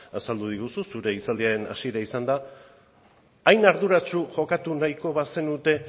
azaldu diguzu zure hitzaldiaren hasiera izan da hain arduratsu jokatu nahiko bazenute